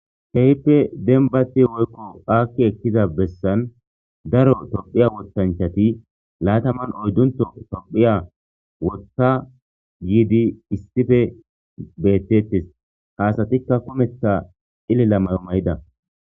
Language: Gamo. heyppe denbati woykko aakki ekkiza bessan daro tophiya wottanchati laataman oyddunto tophiya wota giidi issife bettetes haasatikka komeththa ilila mayo mayida